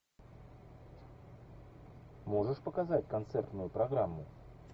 можешь показать концертную программу